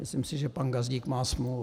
Myslím si, že pan Gazdík má smůlu.